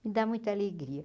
Me dá muita alegria.